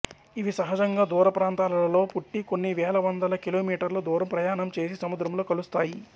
ఇవి సహజంగా దూర ప్రాంతాలలో పుట్టి కొన్ని వేలవందల కి మీ దూర ప్రయాణం చేసి సముద్రంలో కలుస్తాయి